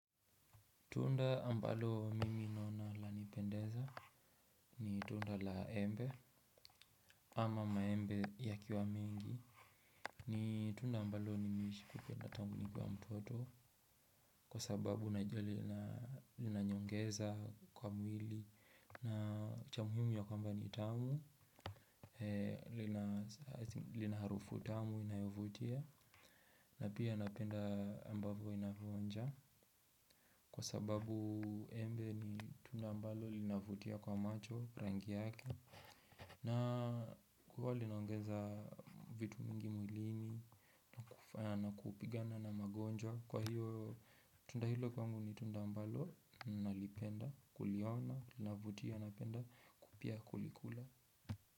Tunda ambalo mimi naona lanipendeza ni tunda la embe ama maembe yakiwa mengi ni tunda ambalo nimeshalipenda tangu nikiwa mtoto kwa sababu najua linaniongeza kwa mwili na cha muhimu ni ya kwamba ni tamu lina harufu tamu inayovutia na pia napenda ambavyo inavyoonja kwa sababu embe ni tunda ambalo linavutia kwa macho rangi yake. Na kuwa linaongeza vitu mingi mwilini na kupigana na magonjwa kwa hiyo tunda hilo kwangu ni tunda ambalo nalipenda kuliona linavutia napenda pia kulikula.